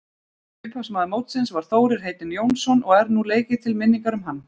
Upphafsmaður mótsins var Þórir heitinn Jónsson og er nú leikið til minningar um hann.